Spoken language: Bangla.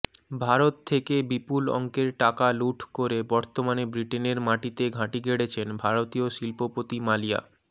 ভারত থেকে বিপুল অঙ্কের টাকা লুঠ করে বর্তমানে ব্রিটেনের মাটিতে ঘাঁটি গেড়েছেন ভারতীয় শিল্পপতি মালিয়া